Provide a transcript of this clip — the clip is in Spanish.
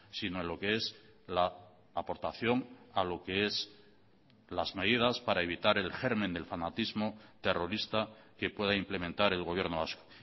sino en lo qué es la aportación a lo que es las medidas para evitar el germen del fanatismo terrorista que pueda implementar el gobierno vasco